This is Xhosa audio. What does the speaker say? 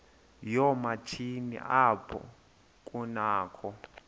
yoomatshini apho kunakho